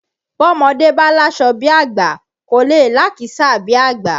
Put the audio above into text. Bọ́mọdé bá láṣọ bí àgbà kò lè lákìísà bí àgbà